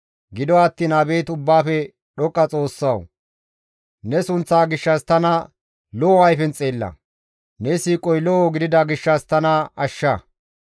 Gido attiin abeet Ubbaafe Dhoqqa GODAWU! ne sunththa gishshas tana lo7o ayfen xeella; ne siiqoy lo7o gidida gishshas tana ashsha.